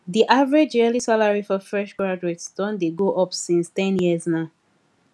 the average yearly salary for fresh graduates don dey go up since ten years now